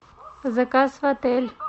заказ в отель